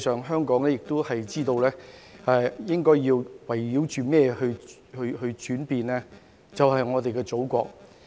香港應該知道要圍繞着甚麼去轉變，便是我們的祖國。